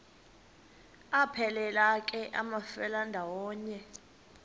aphelela ke amafelandawonye